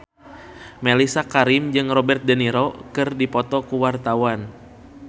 Mellisa Karim jeung Robert de Niro keur dipoto ku wartawan